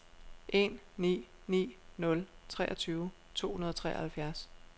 en ni ni nul treogtyve to hundrede og treoghalvfjerds